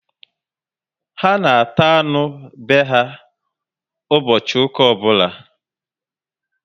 Ha na ata anụ be ha ụbọchị ụka obula